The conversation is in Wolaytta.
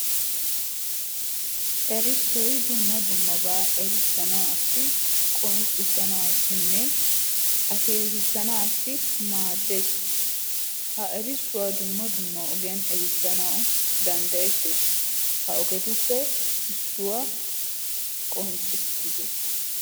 Erissoy dumma dummaba erissanassi, qonccissanassi, akeekkissanassi maaddees. Ha erissuwaa dumma dumma ogiyan erissanaw danddayetees. Ha ogetuppe issuwa qonccissite.